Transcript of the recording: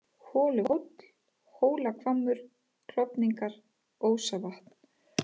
Holuhóll, Hólahvammur, Klofningar, Ósavatn